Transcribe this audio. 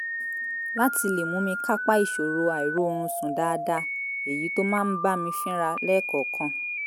láti lè mú mi kápá ìṣòro àìróorunsùn dáadáa èyí tó máa ń bá mi fínra lẹ́ẹ̀kọ̀ọ̀kan